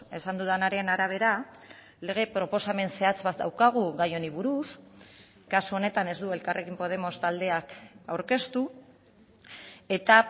esan dudanaren arabera lege proposamen zehatz bat daukagu gai honi buruz kasu honetan ez du elkarrekin podemos taldeak aurkeztu eta